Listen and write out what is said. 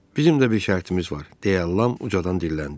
Bizim də bir şərtimiz var, deyə Lam ucadan dilləndi.